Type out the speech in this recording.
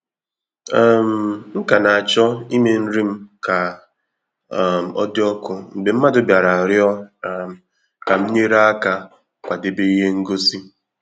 um M ka na-acho ime nri m ka um odị ọkụ mgbe mmadụ bịara rịọ um ka m nyere aka kwadebe ihe ngosi.